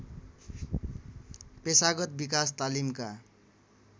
पेशागत विकास तालिमका